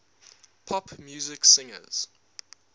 pop music singers